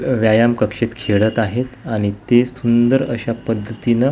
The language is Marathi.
अ व्यायाम कक्षेत खेळत आहेत आणि ते सुंदर अशा पद्धतीनं --